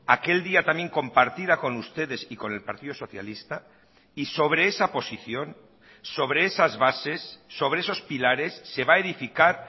aquel día también compartida con ustedes y con el partido socialista y sobre esa posición sobre esas bases sobre esos pilares se va a edificar